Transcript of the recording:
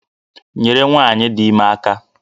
Nyere nwanyi dị ime aka!